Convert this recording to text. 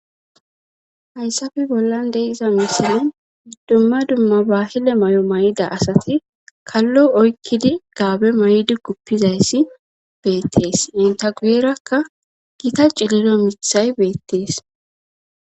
hayssafe bollan de iza misinan dumma dumma bahile may7o may7ida asati kallo oykkidi gaabe may7di kuppizayssi beettees intagueerakka gita ciliro mithay beettees